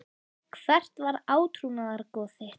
Hvert var átrúnaðargoð þitt?